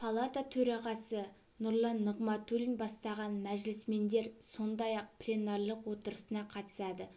палата төрағасы нұрлан нығматулин бастаған мәжілісмендер сондай-ақ пленарлық отырысына қатысады